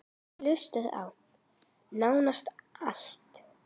Ég hlusta á: nánast allt